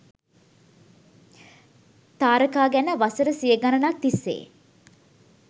තාරකා ගැන වසර සිය ගණනක් තිස්සේ